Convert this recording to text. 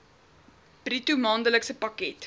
bruto maandelikse pakket